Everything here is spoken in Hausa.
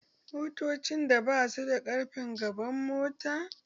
Motocin da basu da ƙarfen gaban mota